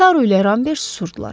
Taru ilə Rambert susurdular.